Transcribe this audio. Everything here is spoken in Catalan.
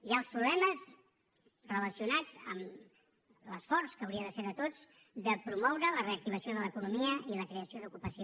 hi ha els problemes relacionats amb l’esforç que hauria de ser de tots de promoure la reactivació de l’economia i la creació d’ocupació